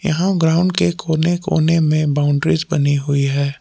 यहां ग्राउंड के कोने कोने में बाउंड्रीज बनी हुई है।